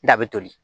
Da bɛ toli